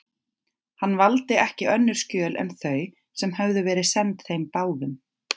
Hann valdi ekki önnur skjöl en þau, sem höfðu verið send þeim báðum.